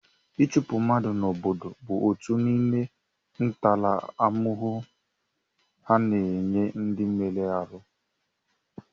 Ịchụpụ mmadụ n'obodo bụ otu n'ime ntaramahụhụ a na-enye ndị mere arụ.